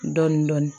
Dɔɔnin dɔɔnin